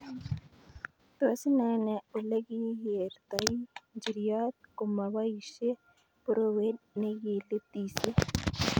Tos, inaene olekikertoi njiriot komoboisie porowet ne kilititisye